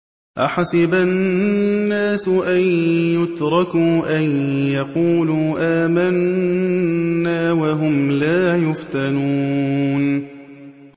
أَحَسِبَ النَّاسُ أَن يُتْرَكُوا أَن يَقُولُوا آمَنَّا وَهُمْ لَا يُفْتَنُونَ